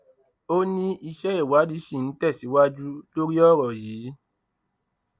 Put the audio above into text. ó ní iṣẹ ìwádìí ṣì ń tẹsíwájú lórí ọrọ yìí